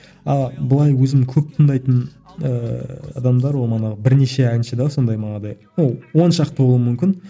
ал былай өзім көп тыңдайтын ыыы адамдар ол манағы бірнеше әнші де сондай манағыдай ол оншақты болуы мүмкін